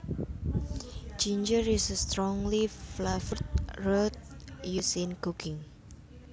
Ginger is a strongly flavored root used in cooking